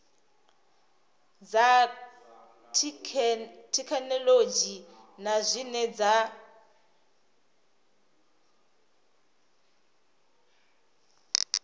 dza thekhinolodzhi na zwine dza